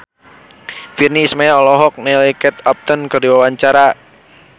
Virnie Ismail olohok ningali Kate Upton keur diwawancara